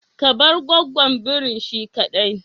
Ka bar gwaggon birin shi kadai.